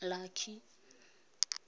lucky